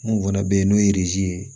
Mun fana bɛ yen n'o ye ye